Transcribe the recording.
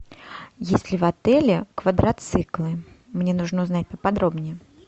есть ли в отеле квадроциклы мне нужно узнать поподробнее